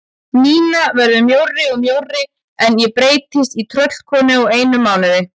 Nína verður mjórri og mjórri en ég breytist í tröllkonu á einum mánuði.